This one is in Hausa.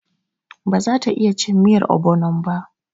Ba za ta iya cin miyar ogbonon ba.